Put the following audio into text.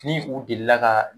Ni u delila ka